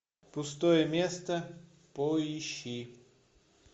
пустое место поищи